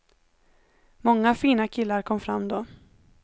Många fina killar kom fram då.